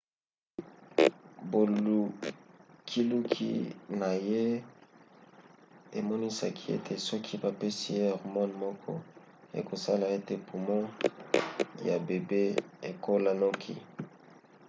bolukiluki na ye emonisaki ete soki bapesi ye hormone moko ekosala ete pumo ya bebe ekola noki